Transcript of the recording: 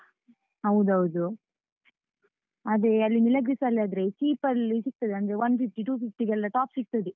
ಹೌದೌದು, ಅದೇ ಅಲ್ಲಿ Milagres ಅಲ್ಲಿ ಆದ್ರೆ cheap ಲ್ಲಿ ಸಿಗ್ತದೆ, ಅಂದ್ರೆ one fifty, two fifty ಗೆಲ್ಲ top ಸಿಗ್ತದೆ.